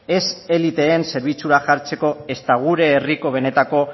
ez eliteen zerbitzura jartzeko ez eta gure herriko benetako